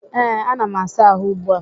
Ee, ana m asa àhụ́ ugbu a.